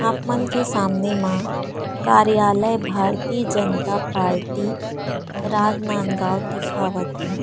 आपन के सामने मा कार्यालय भारती जनता पार्टी राजनांदगाव दिखावत हे।